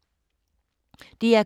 DR K